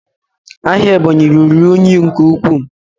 Ahịa Ebonyi ruru unyi nke ukwuu